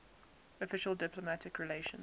official diplomatic relations